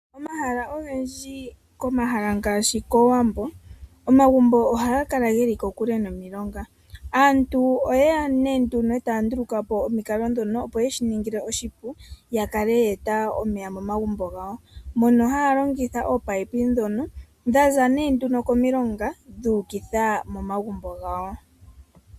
Omahala ogendji komahala ngaashi kowambo omagumbo ohaga kala geli kokule nomilonga, aantu oyeya nee nduno e taya ndulukapo omikalo dhono opo yeshi ningile oshipu ya kale yeeta omeya momagumbo gawo mono haya longitha oopapi dhono dhaza nee nduno komilonga dhuukitha momagumbo gawo.